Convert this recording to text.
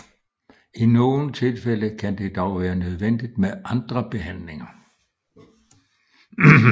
I nogle tilfælde kan det dog være nødvendigt med andre behandlinger